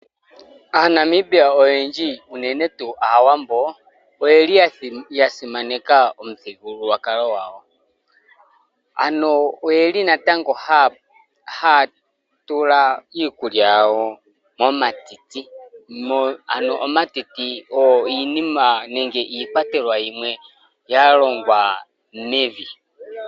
AaNamibia oyendji unene tuu aawambo oyeli ya simaneka omuthigululwakalo gwaawambo, Ano oyeli natango haya tula iikulya yawo momatiti . omatiti ogo iikwatelwa yimwe yalongwa mevi .